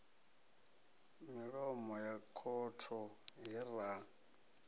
milomo ya khotho he ra